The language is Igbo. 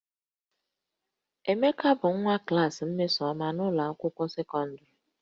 Emeka bụ nwa klaasị Mmesoma n'ụlọ akwụkwọ sekọndịrị